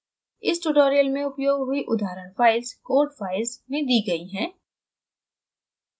इस tutorial में उपयोग हुई उदाहरण files code files में दी गयी हैं